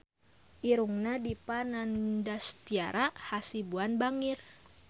Irungna Dipa Nandastyra Hasibuan bangir